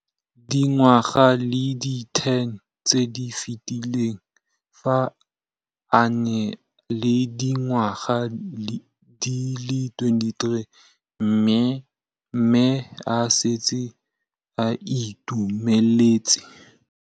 Dingwaga di le 10 tse di fetileng, fa a ne a le dingwaga di le 23 mme a setse a itshimoletse